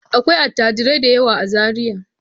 Akwai attajirai da yawa a Zariya.